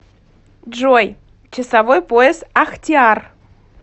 джой часовой пояс ахтиар